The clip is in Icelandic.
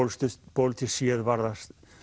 pólitískt séð var það